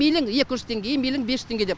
и мейлі екі жүз теңге и мейлі бес жүз теңге деп